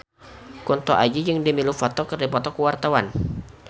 Kunto Aji jeung Demi Lovato keur dipoto ku wartawan